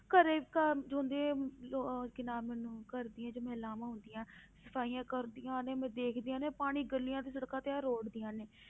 ਘਰੇ ਉਹ ਕੀ ਨਾਮ ਲੈਂਦੇ ਘਰ ਦੀਆਂ ਜੋ ਮਹਿਲਾਵਾਂ ਹੁੰਦੀਆਂ, ਸਫ਼ਾਈਆਂ ਕਰਦੀਆਂ ਨੇ ਮੈਂ ਦੇਖਦੀ ਆ ਨਾ ਪਾਣੀ ਗਲੀਆਂ ਤੇ ਸੜਕਾਂ ਤੇ ਇਉਂ ਰੋੜਦੀਆਂ ਨੇ।